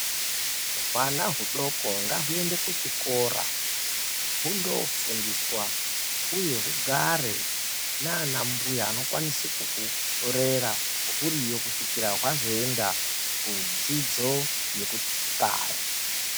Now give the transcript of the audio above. Hwana hudoko ngahuende kuchikora hundofundiswa uye hugare nanambuya anokwanise kuhurera huriyo kusvikira hwazoenda kudzidzo yekuxaya.